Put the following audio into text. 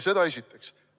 Seda esiteks.